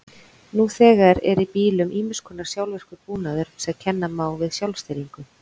Nú þegar er í bílum ýmiss konar sjálfvirkur búnaður sem kenna má við sjálfstýringu.